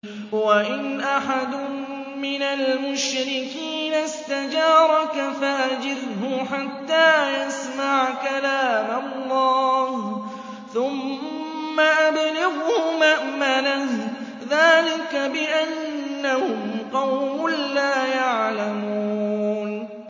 وَإِنْ أَحَدٌ مِّنَ الْمُشْرِكِينَ اسْتَجَارَكَ فَأَجِرْهُ حَتَّىٰ يَسْمَعَ كَلَامَ اللَّهِ ثُمَّ أَبْلِغْهُ مَأْمَنَهُ ۚ ذَٰلِكَ بِأَنَّهُمْ قَوْمٌ لَّا يَعْلَمُونَ